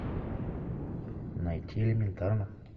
найти элементарно